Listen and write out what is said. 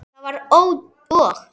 Það var og!